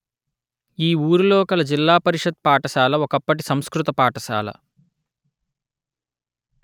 ఈ ఊరిలో కల జిల్లా పరిషత్ పాఠశాల ఒకప్పటి సంస్కృత పాఠశాల